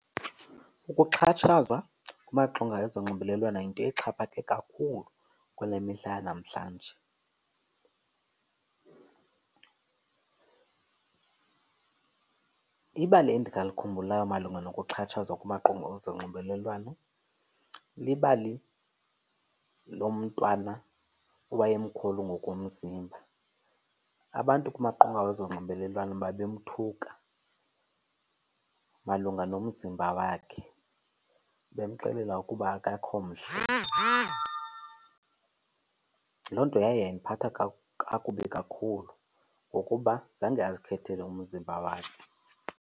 Ukuxhatshazwa kumaqonga ezonxibelelwano yinto exhaphake kakhulu kule mihla yanamhlanje. Ibali endisalikhumbulayo malunga nokuxhatshazwa kumaqonga ezonxibelelwano libali lomntwana owayemkhulu ngokomzimba. Abantu kumaqonga wezonxibelelwano babemthuka malunga nomzimba wakhe, bemxelela ukuba akekho mhle. Loo nto yaye yandiphatha kakubi kakhulu ngokuba zange azikhethele umzimba wakhe.